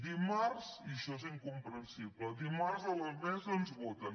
dimarts i això és incomprensible a la mesa ens voten